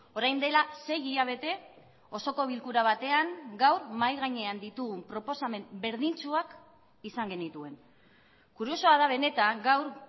orain dela sei hilabete osoko bilkura batean gaur mahai gainean ditugun proposamen berdintsuak izan genituen kuriosoa da benetan gaur